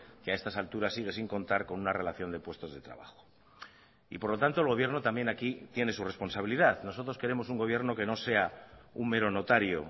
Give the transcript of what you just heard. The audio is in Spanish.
que a estas alturas sigue sin contar con una relación de puestos de trabajo y por lo tanto el gobierno también aquí tiene su responsabilidad nosotros queremos un gobierno que no sea un mero notario